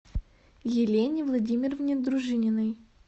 елене владимировне дружининой